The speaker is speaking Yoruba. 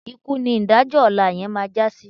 Ikú ni ìdájọ́ ọ̀la yẹn máa já sí.